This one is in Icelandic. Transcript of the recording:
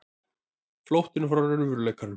Flóttinn frá raunveruleikanum.